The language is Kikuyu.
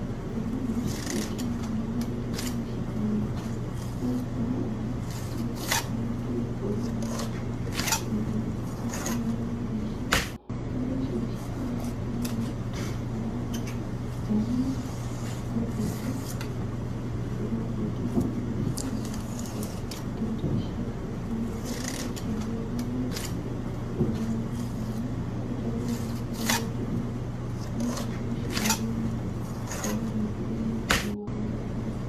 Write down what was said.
Ũndũ ũyũ nĩ ũcenjetie mũno na mahinda-inĩ gĩcigo gĩakwa, nĩ gũkorwo andũ nĩ makoragwo mekĩrĩire ũrĩmi ũyũ wa kũrĩmĩra indo thĩinĩ wa nyũmba ici. Nyũmba ici nĩ cikoragwo ikĩrĩmĩrwo indo ta hoho, ndania ngonjeti, spinanji, matharũ mboga indo ta icio. Na nĩ ikoretwo ikĩagĩra mũno thĩinĩ wa nyũmba ĩno nĩkĩo andũ marakorwo mekĩrĩire mũno gĩcigo-inĩ gitũ, gũkorwo magĩkũrĩria indo thĩinĩ wa nyũmba ĩno.